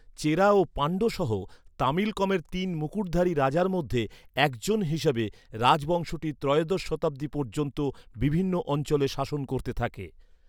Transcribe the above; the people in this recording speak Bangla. চেরা ও পাণ্ড্য সহ তামিলকমের তিন মুকুটধারী রাজার মধ্যে একজন হিসাবে, রাজবংশটি ত্রয়োদশ শতাব্দী পর্যন্ত বিভিন্ন অঞ্চলে শাসন করতে থাকে।